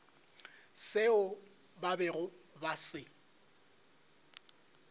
seo ba bego ba se